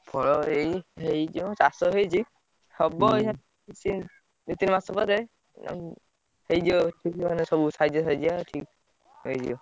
ଏଇ ହେଇଛି ଚାଷ ହେଇଛି ହଁ ଦି ତିନ ମାସ ପରେ ଆଉ ହେଇଯିବ ବିଲ ସବୁ ସାଇଜିଆ ସାଇଜିଆ ହେଇଯିବ।